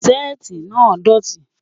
Sétì náà dọ̀tì.